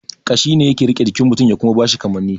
Kashi ne yake rike jikin mutun ya kuma bashi kamani